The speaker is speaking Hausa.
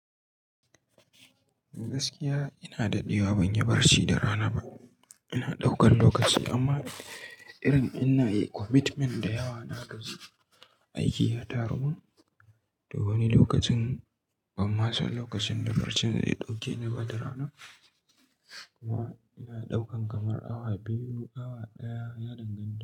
Gaskiya ina daɗewa ban yi barci da rana ba. Ina ɗaukar lokaci amma irin in inada commitment da yawa nagaji aiki ya tarumun. To wani lokacin banma san lokacin da barcin zai ɗauke niba da rana. Kuma ina ɗaukan kamar awa biyu, awa ɗaya ya dangan.